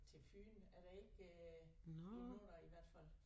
Til Fyn er der ikke øh endnu nej i hvert fald